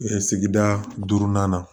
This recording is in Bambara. sigida duurunan na